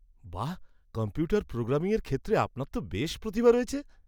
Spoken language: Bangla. বাহ! কম্পিউটার প্রোগ্রামিংয়ের ক্ষেত্রে আপনার তো বেশ প্রতিভা রয়েছে।